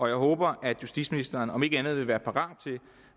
jeg håber at justitsministeren om ikke andet vil være parat til